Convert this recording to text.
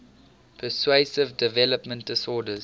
pervasive developmental disorders